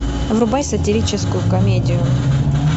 врубай сатирическую комедию